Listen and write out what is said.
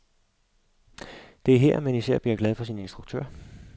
Det er her, man især bliver glad for sin instruktør.